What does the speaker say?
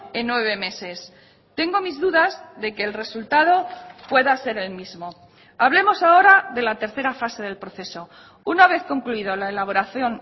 en nueve meses tengo mis dudas de que el resultado pueda ser el mismo hablemos ahora de la tercera fase del proceso una vez concluido la elaboración